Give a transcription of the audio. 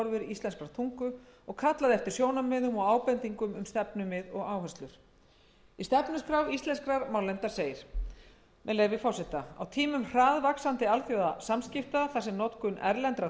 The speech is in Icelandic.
íslenskrar tungu og kallaði eftir sjónarmiðum og ábendingum um stefnumið og áherslur í stefnuskrá íslenskrar málnefndar segir á tímum hraðvaxandi alþjóðasamskipta þar sem notkun erlendra